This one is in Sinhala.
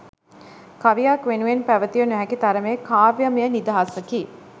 කවියක් වෙනුවෙන් පැවතිය නොහැකි තරමේ කාව්‍යමය නිදහසකි